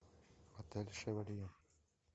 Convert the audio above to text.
отель шевалье